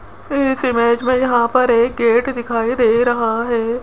इस इमेज में यहां पर एक गेट दिखाई दे रहा हैं।